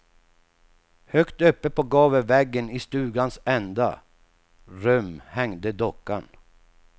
Högt uppe på gavelväggen i stugans ända rum hängde dockan.